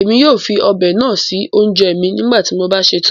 Ẹmi yóò fí ọ́bẹ náà sí ọ̀unjẹ̀ mí nígbàtí mo bá ṣẹ̀tán.